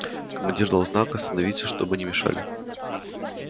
командир дал знак остановиться чтобы не мешали